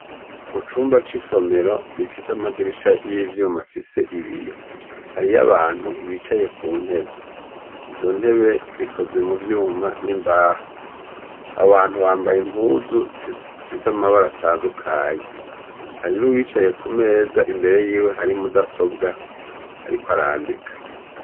Mu cumba cisomero gifise amadirisha yivyuma afise ibiyo hariyo abantu bicaye kuntebe , izontebe zikoze muvyuma nimbaho , abantu bambaye impuzu zifise amabara atandukanye hari nuwicaye kumeza imbere yiwe hari mudasobwa ariko arandika.